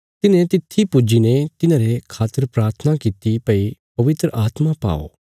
तिन्हें तित्थी पुज्जीने तिन्हांरे खातर प्राथना कित्ती भई पवित्र आत्मा पाओ